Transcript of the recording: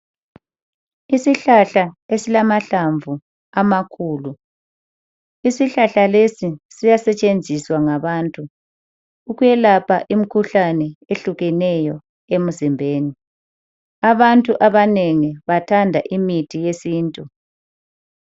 Isihlahla esilamahlamvu amakhulu , isihlahla lesi siyasetshenziswa ngabantu ukuyelapha imikhuhlane ehlukeneyo emzimbeni. Abantu abanengi bathanda imithi yesintu.